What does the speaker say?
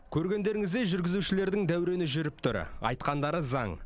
көргендеріңіздей жүргізушілердің дәурені жүріп тұр айтқандары заң